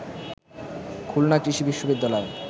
খুলনা কৃষি বিশ্ববিদ্যালয়